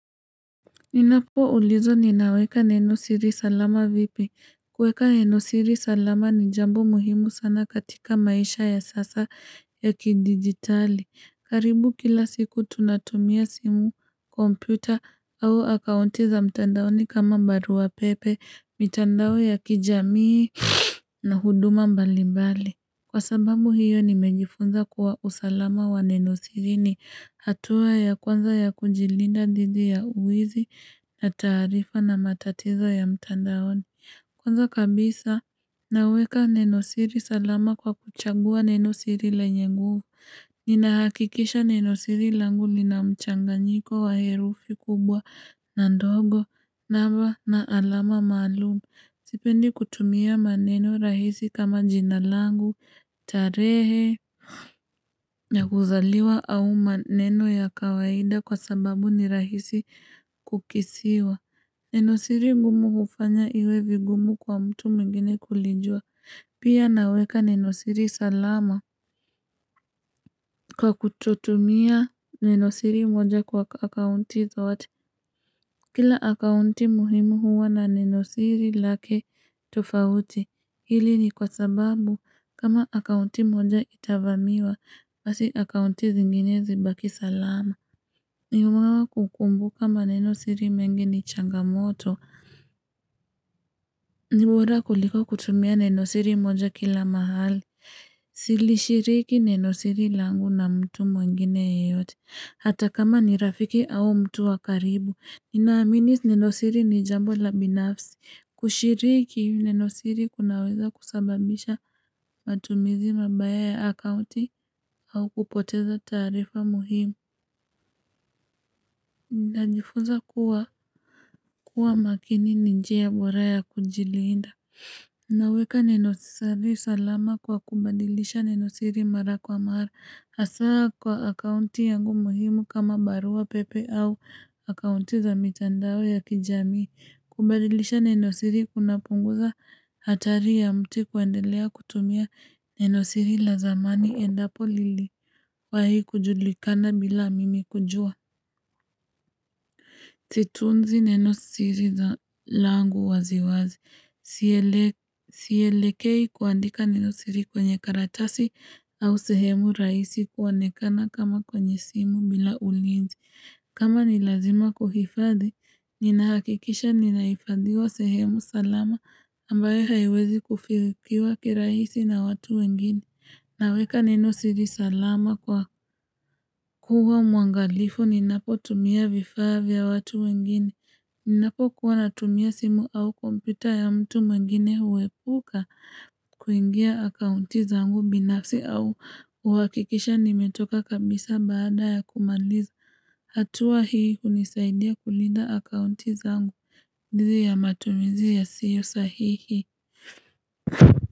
Ninapo ulizwa ninaweka neno siri salama vipi. Kweka neno siri salama ni jambo muhimu sana katika maisha ya sasa ya kidigitali. Karibu kila siku tunatumia simu, kompyuta au akaunti za mtandaoni kama baruapepe, mitandao ya kijamii na huduma mbali mbali. Kwa sababu hiyo nimejifunza kuwa usalama wa neno siri ni hatua ya kwanza ya kujilinda thidi ya wizi. Na taarifa na matatizo ya mtandaoni Kwanza kabisa naweka neno siri salama kwa kuchagua neno siri lenye nguvu Ninahakikisha neno siri langu lina mchanganyiko wa herufi kubwa na ndogo, naba na alama maalum. Sipendi kutumia maneno rahisi kama jina langu, tarehe ya kuzaliwa au maneno ya kawaida kwa sababu ni rahisi kukisiwa Neno siri ngumu hufanya iwe vigumu kwa mtu mwingine kulijua. Pia naweka neno siri salama. Kwa kutotumia neno siri moja kwa akaunti zote Kila akaunti muhimu huwa na nenosiri lake tofauti. Hili ni kwa sababu kama akaunti moja itavamiwa basi akaunti zinginezi zibaki salama. Ni kukumbuka maneno siri mengi ni changamoto ni bora kuliko kutumia neno siri moja kila mahali Silishiriki neno siri langu na mtu mwengine yeyote hata kama ni rafiki au mtu wa karibu. Ninaamini neno siri ni jambo la binafsi. Kushiriki neno siri kunaweza kusababisha matumizi mabaya ya akauti au kupoteza taarifa muhimu Ntajifuza kuwa, kuwa makini ni njia bora ya kujilinda. Naweka Neno siri salama kwa kubadilisha Neno siri mara kwa mara. Hasa kwa akaunti yangu muhimu kama baruapepe au akaunti za mitandao ya kijami. Kubadilisha nenosiri kunapunguza hatari ya mtu kuendelea kutumia nenosiri la zamani endapo liliwahii kujulikana bila mimi kujua. Situnzi nenosiri langu waziwazi. Sielekei kuandika nenosiri kwenye karatasi au sehemu rahisi kuonekana kama kwenye simu bila ulinzi. Kama ni lazima kuhifadhi, ninahakikisha ninahifadhiwa sehemu salama ambayo haiwezi kufikiwa kirahisi na watu wengine. Naweka neno siri salama kwa kuwa mwangalifu ninapo tumia vifaa vya watu wengine. Ninapokuwa natumia simu au kompyuta ya mtu mwingine huepuka kuingia akaunti zangu binafsi au huhakikisha nimetoka kabisa baada ya kumaliza. Hatua hii hunisaidia kulinda akaunti zangu. Ndiyo ya matumizi yasiyo sahihi.